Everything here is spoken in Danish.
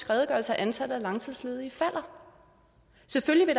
redegørelse at antallet af langtidsledige falder selvfølgelig